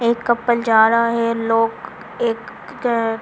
एक कपल जा रहा है लोग एक--